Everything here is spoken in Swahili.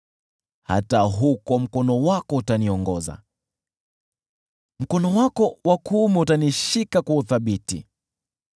hata huko mkono wako utaniongoza, mkono wako wa kuume utanishika kwa uthabiti.